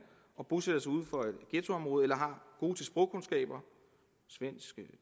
bosætter sig uden for et ghettoområde eller har gode sprogkundskaber svensk